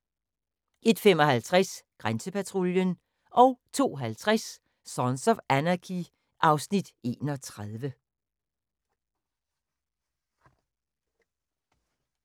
01:55: Grænsepatruljen 02:50: Sons of Anarchy (Afs. 31)